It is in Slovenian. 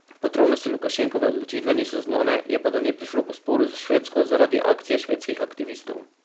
Podrobnosti Lukašenkove odločitve niso znane, je pa do nje prišlo po sporu s Švedsko zaradi akcije švedskih aktivistov.